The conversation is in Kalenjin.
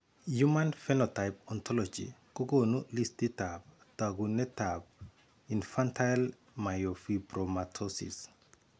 Human phenotype ontology kokoonu listiitab taakunetaab Infantile myofibromatosis.